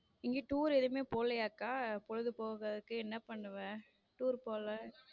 நீங்க tour எதுவுமே போலயா அக்கா பொழுது போக்குறதுக்கு என்ன பண்ணுவ tour போல.